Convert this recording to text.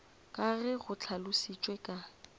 ka ge go hlalošitšwe ka